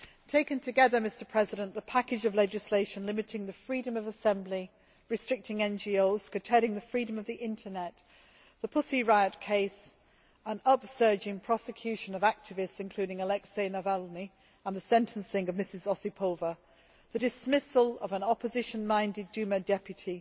Taken together, the package of legislation limiting the freedom of assembly, restricting NGOs, curtailing the freedom of the internet, the Pussy Riot case, an upsurge in prosecution of activists, including Alexey Navalny, and the sentencing of Mrs Osipova, the dismissal of an opposition minded Duma deputy